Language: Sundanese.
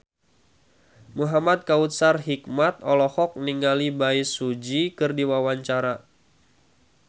Muhamad Kautsar Hikmat olohok ningali Bae Su Ji keur diwawancara